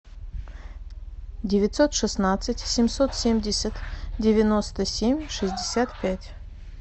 девятьсот шестнадцать семьсот семьдесят девяносто семь шестьдесят пять